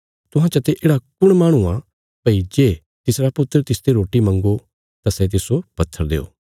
तुहां चते येढ़ा कुण माहणु आ भई जे तिसरा पुत्र तिसते रोटी मंग्गो तां सै तिस्सो पत्थर देओ